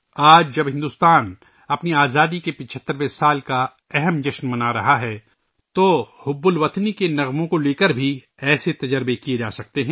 آج جب بھارت اپنی آزادی کے 75ویں سال کا اہم تہوار منا رہا ہے تو ایسے ہی تجربات حب الوطنی کے گیتوں کے حوالے سے کئے جا سکتے ہیں